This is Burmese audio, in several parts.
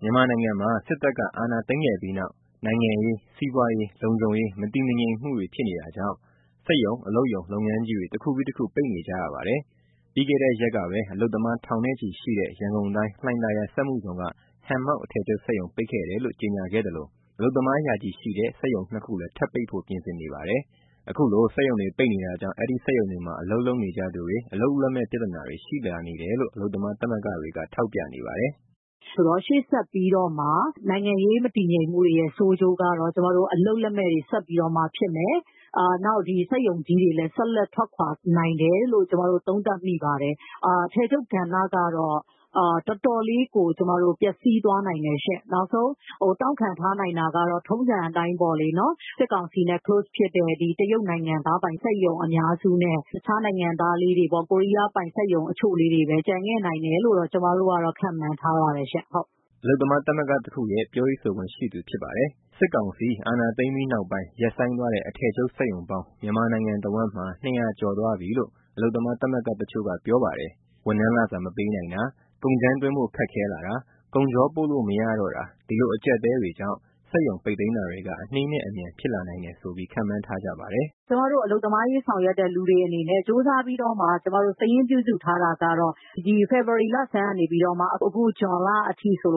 မြန်မာနိုင်ငံမှာ စစ်တပ်အာဏာသိမ်းခဲ့ပြီးနောက် နိုင်ငံရေး၊ စီးပွားရေး၊ လုံခြုံရေး မတည်ငြိမ်မှုတွေဖြစ်နေတာကြောင့် စက်ရုံ အလုပ်ရုံ လုပ်ငန်းကြီးတွေ တခုပြီး တခု ပိတ်နေကြပါတယ်။ ပြီးခဲ့တဲ့ရက်ကပဲ အလုပ်သမား ထောင်ချီရှိတဲ့ ရန်ကုန်တိုင်း၊ လှိုင်သာယာစက်မှုဇုံက ဟန်မောက်အထည်ချုပ် ပိတ်တယ်လို့ ကြေညာခဲ့သလို အလုပ်သမားရာချီရှိတဲ့ စက်ရုံ ၂ ခုလည်း ထပ်ပိတ်ဖို့ ပြင်ဆင်နေပါတယ်။ ခုလို စက်ရုံတွေပိတ်နေတာကြောင့် အဲဒီစက်ရုံတွေမှာ အလုပ်လုပ်နေကြသူတွေ အလုပ်လက်မဲ့ပြဿနာတွေ ရှိလာနေတယ်လို့ အလုပ်သမားသမဂ္ဂတွေက ထောက်ပြနေပါတယ်။ “ ဆိုတော့ ရှေ့ဆက်ပြီးတော့မှ နိုင်ငံရေးမတည်ငြိမ်မှုတွေရဲ့ ဆိုးကျိုးကတော့ အလုပ်လက်မဲ့တွေ ဆက်ပြီးတော့မှဖြစ်မယ်၊ နောက် စက်ရုံကြီးတွေလည်း ဆက်လက်ထွက်ခွာနိုင်တယ်လို့ ကျမတို့ သုံးသပ်မိပါတယ်။ အထည်ချုပ်ကဏ္ဍကတော့ တော်တော်လေးကို ပျက်စီးသွားနိုင်တယ်ရှင့်။ နောက်ဆုံး တောင့်ခံထားနိုင်တာကတော့ ထုံးစံအတိုင်းပေါ့လေ စစ်ကောင်စီနဲ့ နီးကပ်တဲ့ တရုတ်နိုင်ငံသားပိုင် စက်ရုံအများစုနဲ့ တခြားနိုင်ငံသားလေးတွေပေါ့ ကိုရီးယားပိုင် စက်ရုံအချို့လေးတွေပဲ ကျန်ခဲ့နိုင်တယ်လို့ ကျမတို့ ခန့်မှန်းထားပါတယ်။” အလုပ်သမားသမဂ္ဂတခုရဲ့ ပြောရေးဆိုခွင့်ရှိသူဖြစ်ပါတယ်။ စစ်ကောင်စီအာဏာသိမ်းပြီးနောက်ပိုင်း ရပ်ဆိုင်းသွားတဲ့ အထည်ချုပ်စက်ရုံပေါင်း မြန်မာနိုင်ငံတဝန်း ၂၀၀ ကျော်သွားပြီလို့ အလုပ်သမားသမဂ္ဂတချို့က ပြောပါတယ်။ ဝန်ထမ်းလစာမပေးနိုင်တာ၊ ကုန်ကြမ်းသွင်းဖို့ ခက်ခဲလာတာ၊ ကုန်ချောပို့လို့မရတော့တာ ဒီလိုအကျပ်အတည်းတွေကြောင့် စက်ရုံပိတ်သိမ်းတာတွေက အနေးနဲ့အမြန် ဖြစ်လာနိုင်တယ်ဆိုပြီး ခန့်မှန်းထားကြပါတယ်။ “ ကျမတို့ အလုပ်သမားအရေး ဆောင်ရွက်တဲ့သူတွေအနေနဲ့ ကြိုးစားပြီးတော့ စာရင်းပြုစုထားတာကတော့ ဒီဖေဖော်ဝါရီလဆန်းကနေ အခုဇွန်လအထိဆိုရ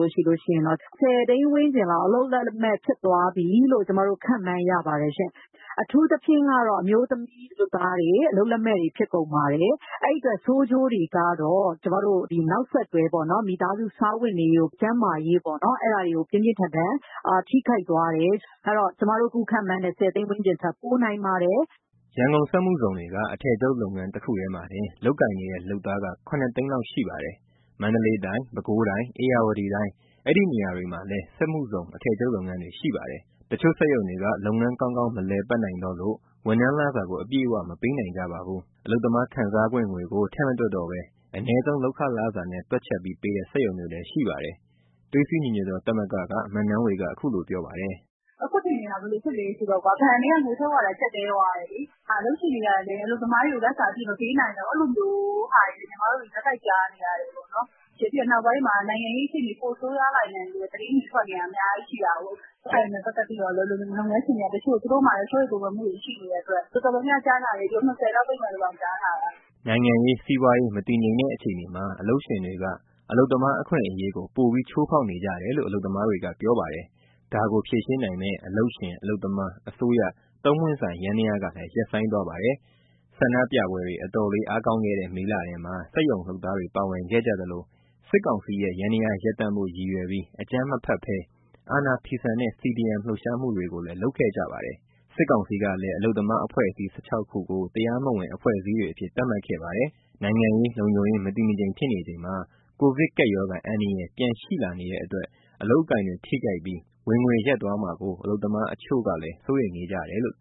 င် ၁,၀၀၀,၀၀၀ ( ဆယ်သိန်း) ဝန်းကျင်လောက် အလုပ်လက်မဲ့ဖြစ်သွားပြီလို့ ကျမတို့ ခန့်မှန်းရပါတယ်ရှင့်။ အထူးသဖြင့် အမျိုးသမီးလုပ်သားတွေ အလုပ်လက်မဲ့ဖြစ်ကုန်ပါတယ်။ အဲဒီအတွက် ဆိုးကျိုးတွေကတော့ နောက်ဆက်တွဲ မိသားစုစားဝတ်နေရေး၊ ကျန်းမာရေး အဲဒါတွေကို ပြင်းပြင်းထန်ထန် ထိခိုက်သွားတယ်။ အဲဒီတော့ ကျမတို့အခုခန့်မှန်းတဲ့ ဆယ်သိန်းဝန်းကျင်ထက် ပိုနိုင်ပါတယ်။” ရန်ကုန်စက်မှုဇုံတွေက အထည်ချုပ်လုပ်ငန်း တခုတည်းမှာတင် လုပ်ကိုင်နေတဲ့ လုပ်သားက ၇၀၀,၀၀၀ လောက်ရှိပါတယ်။ မန္တလေးတိုင်း၊ ပဲခူးတိုင်း၊ ဧရာဝတီတိုင်း ဒီနေရာတွေမှာလည်း စက်မှုဇုံအထည်ချုပ်လုပ်ငန်းတွေ ရှိပါတယ်။ တချို့စက်ရုံတွေက လုပ်ငန်းကောင်းကောင်း မလည်ပိတ်နိုင်တော့လို့ ဝန်ထမ်းလစာကို အပြည့်အဝ မပေးနိုင်ကြပါဘူး။ အလုပ်သမားခံစားခွင့်ငွေကို ထည့်မတွက်တော့ဘဲ အနည်းဆုံးလုပ်ခလစာနဲ့ တွက်ချက်ပြီးပေးတဲ့ စက်ရုံတွေလည်းရှိပါတယ်။ သွေးစည်းညီညွတ်သောသမဂ္ဂက မနန်းဝေက အခုလိုပြောပါတယ်။ “ အခုအခြေအနေက ဘယ်လိုဖြစ်သွားလဲဆိုတော့ ဘဏ်တွေကငွေထုတ်ရတာ ကျပ်တည်းသွားတယ်လေ၊ အလုပ်ရှင်တွေကလည်း အလုပ်သမားတွေကို လစာအပြည့်မပေးနိုင်တော့ဘူး အဲလိုမျိုး ဆက်တိုက်ကြားနေရတယ်။ နောက်ပိုင်းမှာ နိုင်ငံရေးအခြေအနေ ပိုဆိုးရွားလာနိုင်တယ်လို့ သတင်းတွေ ထွက်နေတာ အများကြီးရှိတာကိုး အဲဒါတွေနဲ့ပတ်သက်ပြီး လုပ်ငန်းရှင်တွေက စိုးရိမ်ပူပန်မှုတွေရှိနေလို့၊ တော်တော်များများကြားထားတာ စက်ရုံ ၂၀ လောက် ( ထပ်ပြီး) ပိတ်မယ်လို့ကြားထားတာ။” နိုင်ငံရေး၊ စီးပွားရေး မတည်ငြိမ်တဲ့အခြေအနေမှာ အလုပ်ရှင်တွေက အလုပ်သမားအခွင့်အရေးကို ပိုပြီးချိုးဖောက်နေကြတယ်လို့ အလုပ်သမားတွေက ပြောပါတယ်။ ဒါကိုဖြေရှင်းနိုင်မယ့် အလုပ်ရှင်၊ အလုပ်သမား၊ အစိုးရ သုံးပွင့်ဆိုင်ယန္တရားကလည်း ရပ်ဆိုင်းသွားပါတယ်။ ဆန္ဒပြပွဲတွေ အတော်လေး အားကောင်းခဲ့တဲ့ မေလထဲမှာ စက်ရုံလုပ်သားတွေ ပါဝင်ခဲ့ကြသလို စစ်ကောင်စီရဲ့ ယန္တရားရပ်တန့်ဖို့ ရည်ရွယ်ပြီး အကြမ်းအဖက်ဘဲ အာဏာဖီဆန်တဲ့ CDM လှုပ်ရှားမှုတွေကိုလည်း လုပ်ခဲ့ကြပါတယ်။ စစ်ကောင်စီကလည်း အလုပ်သမားအဖွဲ့အစည်း ၁၆ ခုကို တရားမဝင်အဖွဲ့အစည်းတွေအဖြစ် သတ်မှတ်ခဲ့ပါတယ်။ နိုင်ငံရေး၊ လုံခြုံရေး မတည်မငြိမ်ဖြစ်နေချိန်မှာ ကိုဗစ်ကပ်ရောဂါ အန္တရာယ် ပြန်ရှိလာနေတဲ့အတွက် အလုပ်အကိုင်တွေ ထိခိုက်ပြီး ဝင်ငွေ ရပ်သွားမှာကို အလုပ်သမားတချို့ကလည်း စိုးရိမ်နေကြပါတယ်။